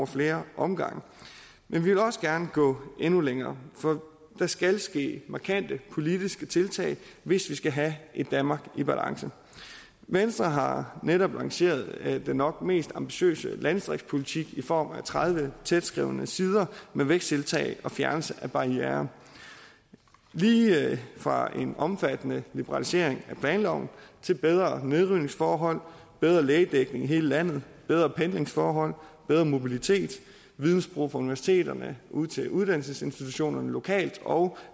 flere omgange men vi vil også gerne gå endnu længere for der skal ske markante politiske tiltag hvis vi skal have et danmark i balance venstre har netop lanceret den nok mest ambitiøse landdistriktspolitik i form af tredive tætskrevne sider med væksttiltag og fjernelse af barrierer lige fra en omfattende liberalisering af planloven til bedre nedrivningsforhold bedre lægedækning i hele landet bedre pendlingsforhold bedre mobilitet vidensbro fra universiteterne ud til uddannelsesinstitutionerne lokalt og